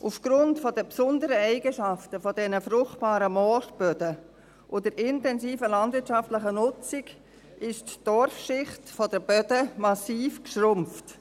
Aufgrund der besonderen Eigenschaften der fruchtbaren Moorböden und der intensiven landwirtschaftlichen Nutzung ist die Torfschicht der Böden massiv geschrumpft.